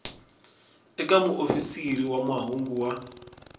eka muofisiri wa mahungu wa